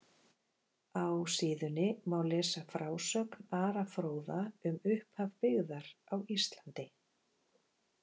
Á síðunni má lesa frásögn Ara fróða um upphaf byggðar á Íslandi.